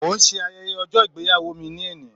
Mo ń ṣe ayẹyẹ ọjọ́ ìgbéyàwó mi ní ẹnì